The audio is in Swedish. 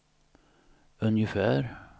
ungefär